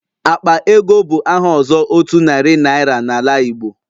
Akpa ego bụ aha ọzọ otu narị naira na ala Igbo.